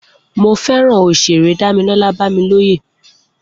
Mo fẹràn òṣèré Damilola Bamiloye